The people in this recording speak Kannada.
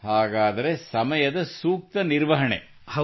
ಹಾಗಾದರೆ ಸಮಯದ ಸೂಕ್ತ ನಿರ್ವಹಣೆ ಸೋ ಪರ್ಫೆಕ್ಟ್ ಟೈಮ್ ಮ್ಯಾನೇಜ್ಮೆಂಟ್